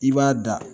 I b'a da